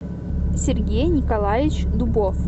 сергей николаевич дубов